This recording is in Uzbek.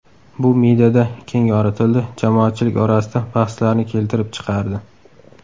Bu mediada keng yoritildi, jamoatchilik orasida bahslarni keltirib chiqardi.